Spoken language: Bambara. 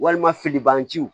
Walima filiban jiw